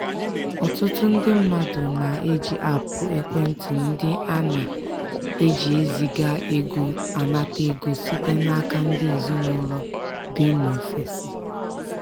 ọtụtụ ndị mmadụ na-eji aapụ ekwentị ndị a na-eji eziga ego anata ego site n'aka ndị ezinaụlọ bi n'ofesi.